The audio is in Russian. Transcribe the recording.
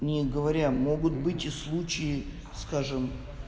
не говоря могут быть и случаи скажем